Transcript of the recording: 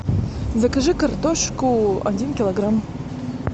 закажи картошку один килограмм